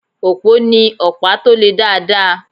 Òpó ní ọ̀pá tó le dáadáa.